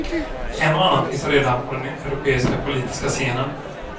En och annan finns redan på den europeiska politiska scenen.